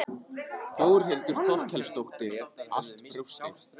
Þórhildur Þorkelsdóttir: Allt brjóstið?